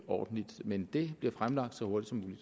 ordentligt men det bliver fremlagt så hurtigt som muligt